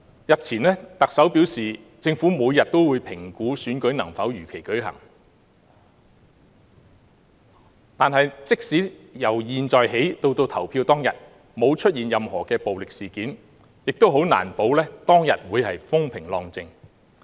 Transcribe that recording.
日前，特首表示政府每天都會評估選舉能否如期舉行，但即使由現在起至投票當天沒有任何暴力事件發生，也難保當天會風平浪靜。